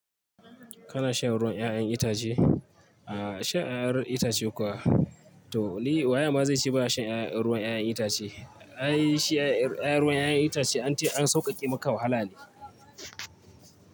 Kana shan ruwan 'ya'yan itace? A'a shan 'ya'yan itace kuwa? To, ni waye ma zai ce baya shan ruwan 'ya'yan ruwan 'ya'yan itace. Ai shi 'ya'yan ruwan 'ya'yan itace an an sauƙaƙe maka wahala ne.